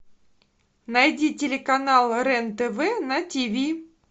найди телеканал рен тв на тв